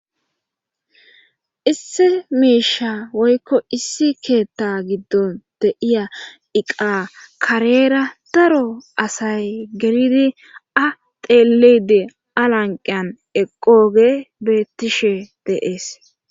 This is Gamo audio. issi miisha woykko issi keetta giddon deiya iqa kareera daro asay gelidi a teelide alanqiyan eqooge beettishe deees